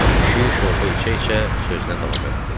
Kişi şorba içə-içə sözünə davam elədi.